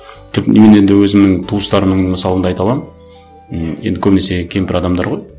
мен енді өзімнің туыстарымның мысалында айта аламын м енді көбінесе кемпір адамдар ғой